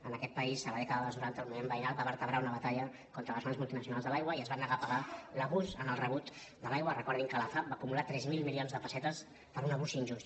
en aquest país a la dècada dels noranta el moviment veïnal va vertebrar una batalla contra les grans multinacionals de l’aigua i es van negar a pagar l’abús en el rebut de l’aigua recordin que la fav va acumular tres mil milions de pessetes per un abús injust